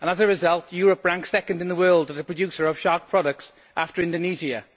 As a result, Europe ranks second in the world as a producer of shark products, after Indonesia.